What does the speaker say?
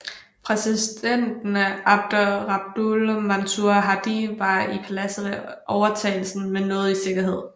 Præsidenten Abd Rabbuh Mansur Hadi var i paladset ved overtagelsen men nåede i sikkerhed